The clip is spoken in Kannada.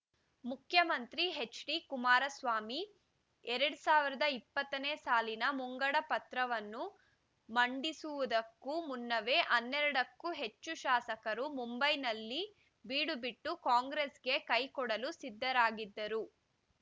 ಮುಖ್ಯಮಂತ್ರಿ ಹೆಚ್ಡಿ ಕುಮಾರಸ್ವಾಮಿ ಎರಡ್ ಸಾವಿರದ ಇಪ್ಪತ್ತನೇ ಸಾಲಿನ ಮುಂಗಡ ಪತ್ರವನ್ನು ಮಂಡಿಸುವುದಕ್ಕೂ ಮುನ್ನವೇ ಹನ್ನೆರಡಕ್ಕೂ ಹೆಚ್ಚು ಶಾಸಕರು ಮುಂಬೈನಲ್ಲಿ ಬೀಡುಬಿಟ್ಟು ಕಾಂಗ್ರೆಸ್‌ಗೆ ಕೈ ಕೊಡಲು ಸಿದ್ಧರಾಗಿದ್ದರು